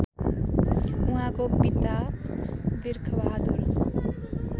उहाँका पिता बिर्खबहादुर